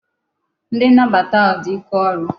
Ndi nnabata ahu di ike oru